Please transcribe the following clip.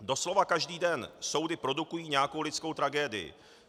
Doslova každý den soudy produkují nějakou lidskou tragédii.